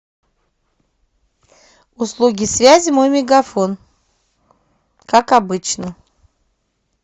услуги связи мой мегафон как обычно